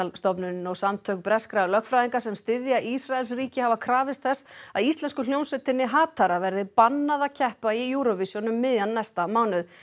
stofnunin og samtök breskra lögfræðinga sem styðja Ísraels ríki hafa krafist þess að íslensku hljómsveitinni verði bannað að keppa í Eurovision um miðjan næsta mánuð